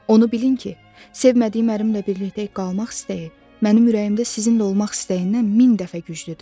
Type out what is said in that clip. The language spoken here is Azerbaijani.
Onu bilin ki, sevmədiyim ərimlə birlikdə qalmaq istəyi mənim ürəyimdə sizinlə olmaq istəyindən min dəfə güclüdür.